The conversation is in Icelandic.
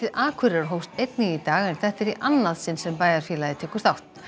Akureyrar hófst einnig í dag en þetta er í annað sinn sem bæjarfélagið tekur þátt